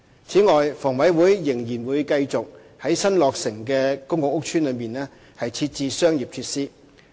此外，房委會仍然會繼續在新落成的公共屋邨內設置商業設施。